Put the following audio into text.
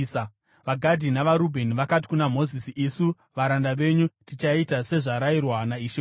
VaGadhi navaRubheni vakati kuna Mozisi, “Isu varanda venyu tichaita sezvarayirwa naishe wedu.